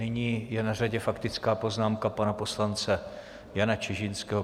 Nyní je na řadě faktická poznámka pana poslance Jana Čižinského.